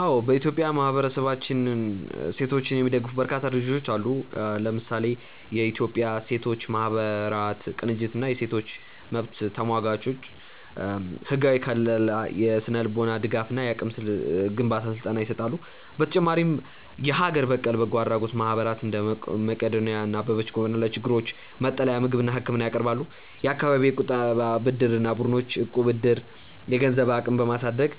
አዎ፥ በኢትዮጵያ ማህበረሰብንና ሴቶችን የሚደግፉ በርካታ ድርጅቶች አሉ። ለምሳሌ፦ የኢትዮጵያ ሴቶች ማህበራት ቅንጅት እና የሴቶች መብት ተሟጋቾች፦ ህጋዊ ከልላ፣ የስነ-ልቦና ድጋፍ እና የአቅም ግንባታ ስልጠና ይሰጣሉ። በተጨማሪም የሀገር በቀል በጎ አድራጎት ማህበራት (እንደ መቅዶንያ እና አበበች ጎበና) ለችግረኞች መጠለያ፣ ምግብና ህክምና ያቀርባሉ። የአካባቢ የቁጠባና ብድር ቡድኖች (እቁብ/ዕድር)፦ የገንዘብ አቅምን በማሳደግ